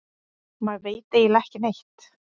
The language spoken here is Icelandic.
Maður veit eiginlega ekki neitt